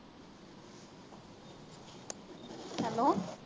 hello